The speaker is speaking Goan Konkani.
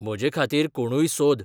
म्हजेखातीर कोणूय सोद